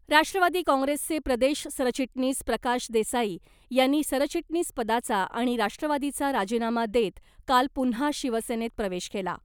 राष्ट्रवादी काँग्रेसचे प्रदेश सरचिटणीस प्रकाश देसाई यांनी सरचिटणीसपदाचा आणि राष्ट्रवादीचा राजीनामा देत काल पुन्हा शिवसेनेत प्रवेश केला .